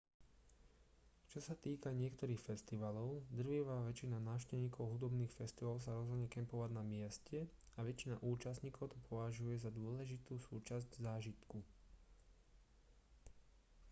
čo sa týka niektorých festivalov drvivá väčšina návštevníkov hudobných festivalov sa rozhodne kempovať na mieste a väčšina účastníkov to považuje za dôležitú súčasť zážitku